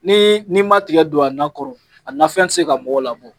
Ni ni ma tigɛ don a nan kɔrɔ a nafɛn ti se ka mɔgɔw labɔ.